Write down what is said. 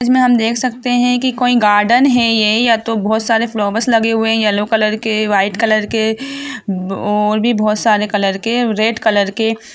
इसमें हम देख सकते हैकी कोई गार्डन हैये या तो बहुत सारे फ्लावर्स लगे हुए हैयेलो कलर के व्हाइट और भी बहुत सारे कॉलर के रेड कॉलर के --